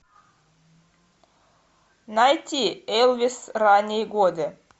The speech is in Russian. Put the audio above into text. найти элвис ранние годы